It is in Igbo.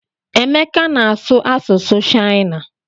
Emeka na-asụ asụsụ shịana.